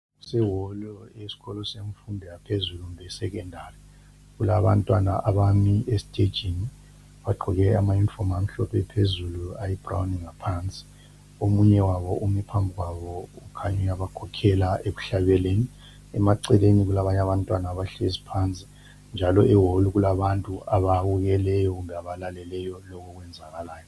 Kuseholo yesikolo semfundo yaphezulu kumbe e secondary kulabantwana abami esitejini bagqoke amayunifomu amhlophe phezulu ayi brown ngaphansi omunye wabo umi phambi kwabo ukhanya uyabakhokhela ekuhlabeleni ,eceleni kulabantwana abahlezi phansi njalo eholo kulabantu ababukeleyo kumbe abalaleleyo lokho okwenzakalayo.